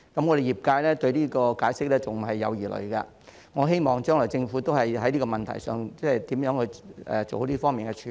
我們業界對於這個解釋仍有疑慮，我希望將來政府會就這個問題，處理好這方面的事宜。